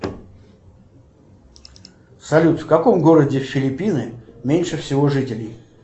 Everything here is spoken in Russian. салют в каком городе филиппины меньше всего жителей